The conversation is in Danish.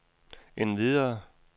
endvidere